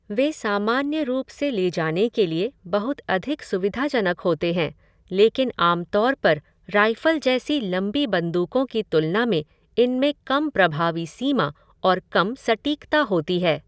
वे सामान्य रूप से ले जाने के लिए बहुत अधिक सुविधाजनक होते हैं, लेकिन आम तौर पर राइफ़ल जैसी लंबी बंदूकों की तुलना में इनमें कम प्रभावी सीमा और कम सटीकता होती है।